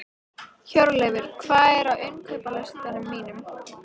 Hjörleifur, hvað er á innkaupalistanum mínum?